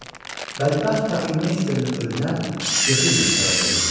bədbəxt Kapelmeysterin ölümünə Yefimov səbəb olmuşdu.